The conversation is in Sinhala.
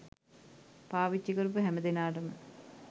පාවිච්චි කරපු හැමදෙනාටම